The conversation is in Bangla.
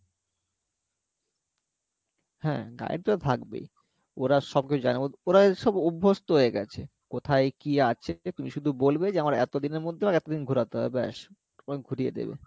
হ্যাঁ guide তো থাকবেই ওরা সব কিছু জানে ওরা সব অভ্যস্থ হয়ে গেছে কোথায় কী আছে, তুমি শুধু বলবে যে আমার এত দিনের মধ্যে আমাকে এত দিন ঘোরাতে হবে ব্যাস তোমাকে ঘুরিয়ে দেবে